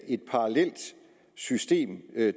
et parallelt system